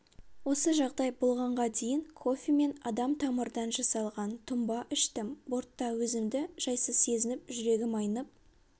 осы жағдай болғанға дейін кофе мен адамтамырдан жасалған тұнба іштім бортта өзімді жайсыз сезініп жүрегім айнып